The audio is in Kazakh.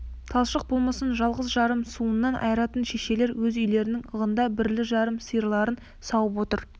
талшық болмысын жалғыз-жарым сауынынан айыратын шешелер өз үйлерінің ығында бірлі-жарым сиырларын сауып отыр